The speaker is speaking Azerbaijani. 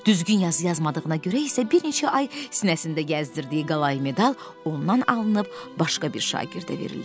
Düzgün yazı yazmadığına görə isə bir neçə ay sinəsində gəzdirdiyi qalay medal ondan alınıb başqa bir şagirdə verildi.